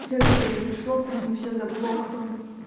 все это произошло почему все заглохло